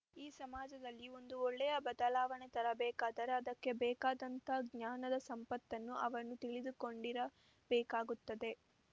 ಈ ಸಮಾಜದಲ್ಲಿ ಒಂದು ಒಳ್ಳೆಯ ಬದಲಾವಣೆ ತರಬೇಕಾದರೆ ಅದಕ್ಕೆ ಬೇಕಾದಂಥ ಜ್ಞಾನದ ಸಂಪತ್ತನ್ನು ಅವನು ತಿಳಿದುಕೊಂಡಿರ ಬೇಕಾಗುತ್ತದೆ